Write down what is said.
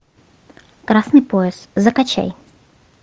красный пояс закачай